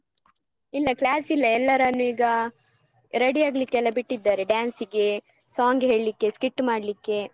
ಇಲ್ಲ class ಇಲ್ಲ ಎಲ್ಲರನ್ನು ಈಗ ready ಆಗ್ಲಿಕೆಲ್ಲ ಬಿಟ್ಟಿದ್ದಾರೆ dance ಗೆ song ಹೇಳಿಕ್ಕೆ skit ಮಾಡ್ಲಿಕ್ಕೆ.